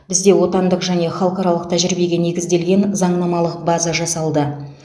бізде отандық және халықаралық тәжірибеге негізделген заңнамалық база жасалды